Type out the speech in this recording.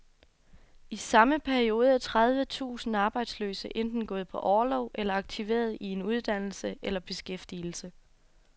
I samme periode er tredive tusind arbejdsløse enten gået på orlov eller aktiveret i en uddannelse eller beskæftigelse.